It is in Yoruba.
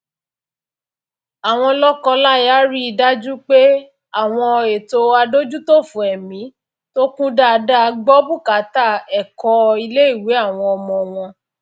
àwọn lọkọláya rí i dájú pé àwọn ètò adójútòfò ẹmí tó kún dáadáa gbọ bùkátà ẹkọ iléìwé àwọn ọmọ wọn